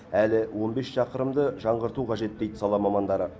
әлі он бес шақырымды жаңғырту қажет дейді сала мамандары